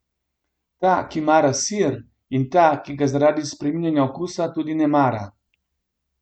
Ta, ki mara sir, in ta, ki ga zaradi spreminjanja okusa tudi ne mara.